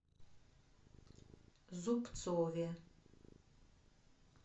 зубцове